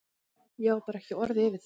Ég á bara ekki orð yfir það.